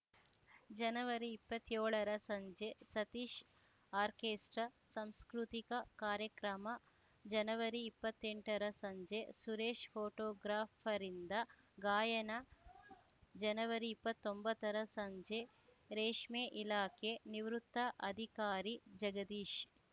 ಜನವರಿಇಪ್ಪತ್ಯೋಳರ ಸಂಜೆ ಸತೀಶ್ ಆರ್ಕೆಸ್ಟ್ರಾ ಸಂಸ್ಕೃತಿಕ ಕಾರ್ಯಕ್ರಮ ಜನವರಿಇಪ್ಪತ್ತೆಂಟರ ಸಂಜೆ ಸುರೇಶ್ ಫೋಟೋಗ್ರಾಫರ್‌ರಿಂದ ಗಾಯನ ಜನವರಿಇಪ್ಪತ್ತೊಂಬತ್ತರ ಸಂಜೆ ರೇಷ್ಮೆ ಇಲಾಖೆ ನಿವೃತ್ತ ಅಧಿಕಾರಿ ಜಗದೀಶ್